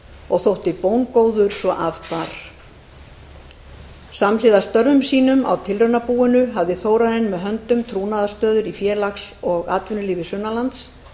og þótti bóngóður svo af bar samhliða störfum sínum á tilraunabúinu hafði þórarinn með höndum trúnaðarstöður í félags og atvinnulífi sunnan lands